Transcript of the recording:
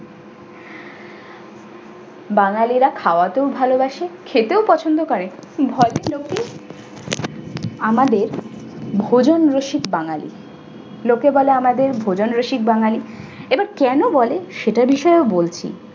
বাঙালিরা খাওয়াতেও ভালবাসে খেতেও পছন্দ করে। ভদ্রলোকই আমাদের ভোজন রসিক বাঙালি। লোকে বলে আমাদের ভোজন রসিক বাঙালি এবার কেন বলে সেটার বিষয়ও বলছি।